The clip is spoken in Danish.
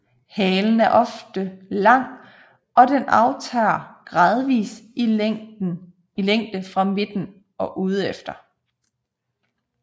Halen er ofte lang og den aftager gradvist i længde fra midten og udefter